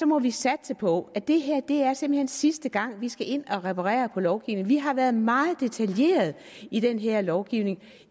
må vi satse på at det her simpelt sidste gang vi skal ind at reparere på lovgivningen vi har været meget detaljerede i den her lovgivning